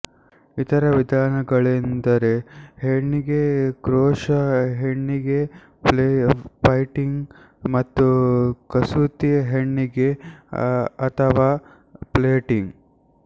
ಇತರ ವಿಧಾನಗಳೆಂದರೆ ಹೆಣಿಗೆ ಕ್ರೋಷಾ ಹೆಣಿಗೆ ಫ಼ೆಲ್ಟಿಂಗ್ ಮತ್ತು ಕಸೂತಿ ಹೆಣಿಗೆ ಅಥವಾ ಪ್ಲೇಯ್ಟಿಂಗ್